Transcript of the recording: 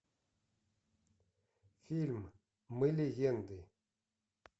фильм мы легенды